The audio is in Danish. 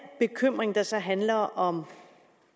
bekymring der så handler om